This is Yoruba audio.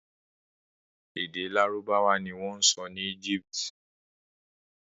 Èdè Lárúbáwá ni wọ́n ń sọ ní Egypt.